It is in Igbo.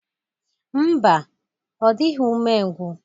Ḿbà, Ọ dịghị ume ngwu.